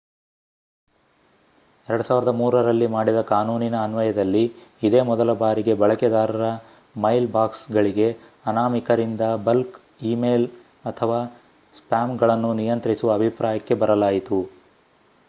2003ರಲ್ಲಿ ಮಾಡಿದ ಕಾನೂನಿನ ಅನ್ವಯದಲ್ಲಿ ಇದೇ ಮೊದಲ ಬಾರಿಗೆ ಬಳಕೆದಾರರ ಮೈಲ್ ಬಾಕ್ಸ್‌ಗಳಿಗೆ ಅನಾಮಿಕರಿಂದ ಬಲ್ಕ್ ಈ ಮೇಲ್ ಅಥವಾ ಸ್ಪ್ಯಾಮ್‌ಗಳನ್ನು ನಿಯಂತ್ರಿಸುವ ಅಭಿಪ್ರಾಯಕ್ಕೆ ಬರಲಾಯಿತು